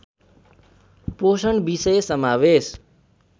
पोषण विषय समावेश